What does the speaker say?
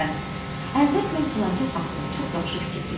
Məsələn, əvvəl mən filankəs haqqında çox yaxşı fikirdeydim.